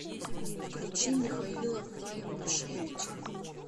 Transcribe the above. включи михаила файбушевича